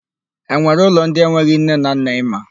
E nwere ụlọ ndị enweghị nne na nna ị ma?